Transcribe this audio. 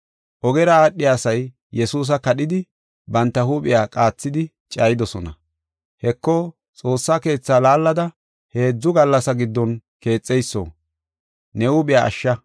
Ogera aadhiya asay Yesuusa kadhidi, banta huuphiya qaathidi cayidosona. “Heko! Xoossa Keetha laallada heedzu gallasa giddon keexana geyso,